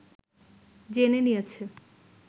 জেনে নিয়েছে